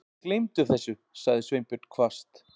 Gleymdu þessu- sagði Sveinbjörn hvasst.